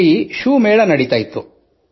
ಅಲ್ಲಿ ಶೂ ಮೇಳ ನಡೆಯುತ್ತಿತ್ತು